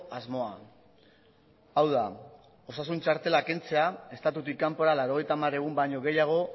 asmoa hau da osasun txartela kentzea estatutik kanpora laurogeita hamar egun baino gehiago